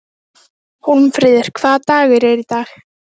Annars veit ég ekki hvernig þetta verður.